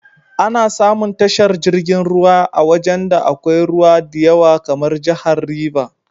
Ana samun tashar jirgin ruwan a wajan da akwai ruwa diyawa kamar jahar River.